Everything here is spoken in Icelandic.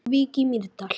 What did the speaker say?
Frá Vík í Mýrdal